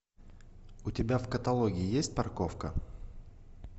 у тебя в каталоге есть парковка